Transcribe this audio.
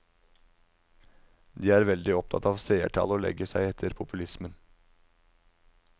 De er veldig opptatt av seertall og legger seg etter populismen.